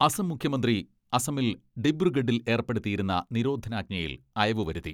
അസം മുഖ്യമന്ത്രി അസമിൽ ഡിബ്രുഗഡിൽ ഏർപ്പെടുത്തിയിരുന്ന നിരോധനാജ്ഞയിൽ അയവ് വരുത്തി.